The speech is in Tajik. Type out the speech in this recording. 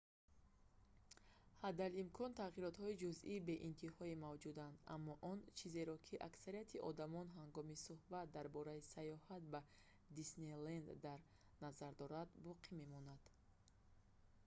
ҳадалимкон тағйиротҳои ҷузъии беинтиҳое мавҷуданд аммо он чизеро ки аксарияти одамон ҳангоми сӯҳбат дар бораи саёҳат ба диснейленд дар назар доранд боқӣ мемонад